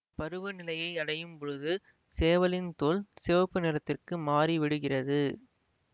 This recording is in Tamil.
பருவ நிலையை அடையும் பொழுது சேவலின் தோல் சிவப்பு நிறத்திற்கு மாறிவிடுகிறது